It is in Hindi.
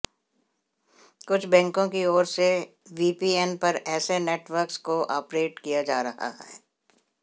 कुछ बैंकों की ओर से वीपीएन पर ऐसे नेटवर्क्स को ऑपरेट किया जा रहा है